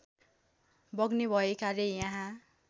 बग्ने भएकाले यहाँ